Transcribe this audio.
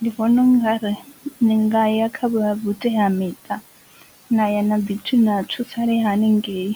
Ndi vhona ungari ni nga ya kha vha vhutea miṱa na ya na ḓi thu na thusalea haningei